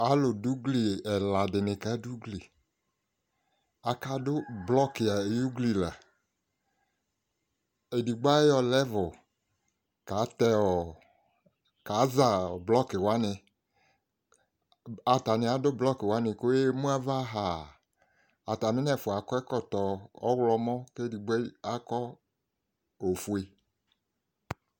Alu du ugli ɛladi kadu ugli akadu blɔki ayu ugli la edigbo ayɔ lɛvu kaza blɔki wani atani adu blɔki wani ku ɔyaɣa emu ava ha atami nɛfua akɔ ɛkɔtɔ ɔɣlɔmɔ ku edigbo akɔ ofue